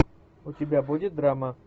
у тебя будет драма